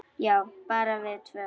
Já, bara við tvö.